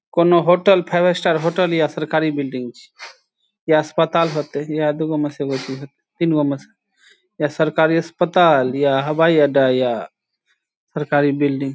कुनू hotel five star hotel या सरकारी बिल्डिंग छी या अस्पताल होयते ईहा दू गो में से एगो चीज होयते तीन गो में से या सरकारी अस्पताल या हवाई अड्डा या सरकारी बिल्डिंग ।